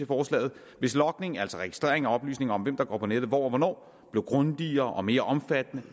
forslaget hvis logningen altså registreringen af oplysninger om hvem der går på nettet hvor og hvornår blev grundigere og mere omfattende